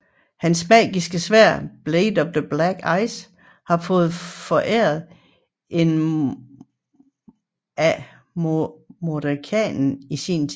Hans magiske sværd Blade of Black Ice har han fået foræret af Mordenkainen i sin tid